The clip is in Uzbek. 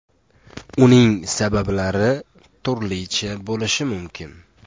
Uning sabablari turlicha bo‘lishi mumkin.